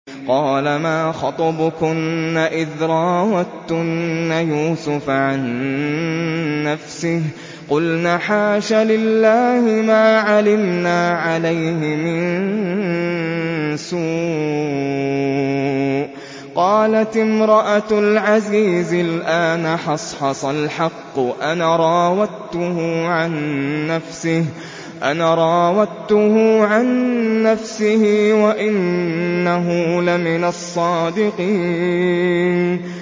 قَالَ مَا خَطْبُكُنَّ إِذْ رَاوَدتُّنَّ يُوسُفَ عَن نَّفْسِهِ ۚ قُلْنَ حَاشَ لِلَّهِ مَا عَلِمْنَا عَلَيْهِ مِن سُوءٍ ۚ قَالَتِ امْرَأَتُ الْعَزِيزِ الْآنَ حَصْحَصَ الْحَقُّ أَنَا رَاوَدتُّهُ عَن نَّفْسِهِ وَإِنَّهُ لَمِنَ الصَّادِقِينَ